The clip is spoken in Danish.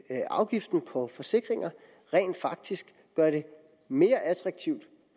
afgiften på forsikringer rent faktisk gør det mere attraktivt